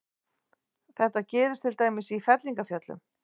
Þetta gerist til dæmis í fellingafjöllum.